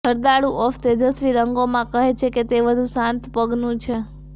જરદાળુ of તેજસ્વી રંગોમાં કહે છે કે તે વધુ શાંત પગનું છે